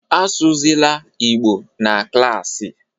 Asụzịla Igbo na klassị